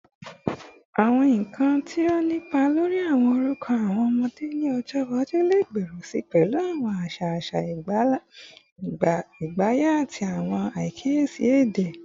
Awọn nkan ti o ni ipa lori awọn orukọ awọn ọmọde ni ọjọ iwaju le gbooro si pẹlu awọn aṣa aṣa agbaye ati awọn akiyesi ede